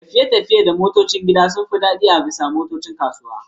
tafiye-tafiye da motocin gida sun fi daɗi akan motocin kasuwa.